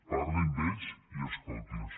parli amb ells i escolti’ls